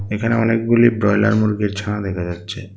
এখানে অনেকগুলি ব্রয়লার মুরগির ছানা দেখা যাচ্ছে।